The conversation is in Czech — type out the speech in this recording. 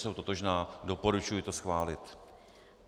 Jsou totožná, doporučuji to schválit.